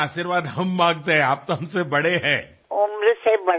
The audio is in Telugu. అయ్యో మీరు నా కన్నా పెద్దవారు కాబట్టి మీ ఆశీర్వాదాన్నే మేము కోరుకుంటున్నాం